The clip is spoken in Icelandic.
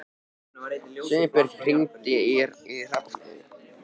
Steinbjörn, hringdu í Hrafneyju.